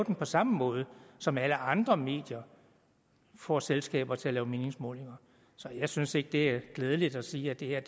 på samme måde som alle andre medier får selskaber til at lave meningsmålinger så jeg synes ikke det er klædeligt at sige at det her